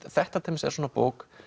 þetta til dæmis er bók